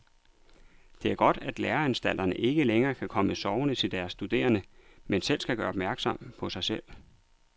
Det er godt, at læreanstalterne ikke længere kan komme sovende til deres studerende, men skal gøre opmærksom på sig selv.